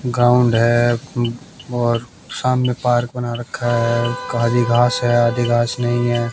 Ground है और सामने पार्क बना रखा है काली घास है नहीं है।